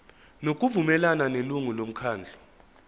ngokuvumelana nelungu lomkhandlu